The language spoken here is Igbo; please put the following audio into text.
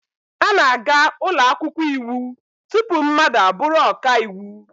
A na-aga ụlọ akwụkwọ iwu tupu mmadụ abụrụ ọka iwu.